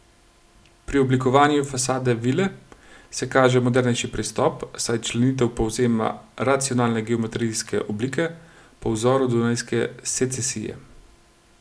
Pri oblikovanju fasade vile se kaže modernejši pristop, saj členitev povzema racionalne geometrijske oblike, po vzoru dunajske secesije.